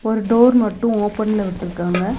ஒரு டோர் மட்டு ஓபன்ல விட்ருக்காங்க.